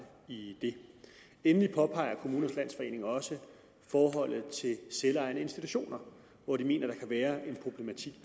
i det endelig påpeger kommunernes landsforening også forholdet til selvejende institutioner hvor de mener der kan være